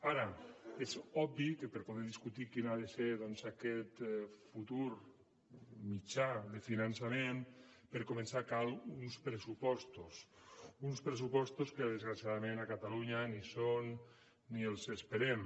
ara és obvi que per poder discutir quina ha de ser aquest futur mitjà de finançament per començar cal uns pressupostos uns pressupostos que desgraciadament a catalunya ni hi són ni els esperem